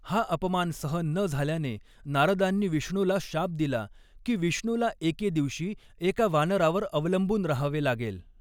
हा अपमान सहन न झाल्याने नारदांनी विष्णूला शाप दिला की विष्णूला एके दिवशी एका वानरावर अवलंबून राहावे लागेल.